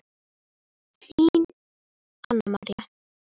Þín, Anna María.